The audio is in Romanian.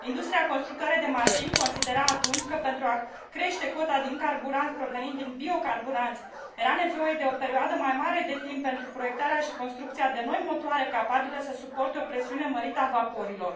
Industria constructoare de mașini considera atunci că, pentru a crește cota din carburant provenind din biocarburanți, era nevoie de o perioadă mai mare de timp pentru proiectarea și construcția de noi motoare capabile să suporte o presiune mărită a vaporilor.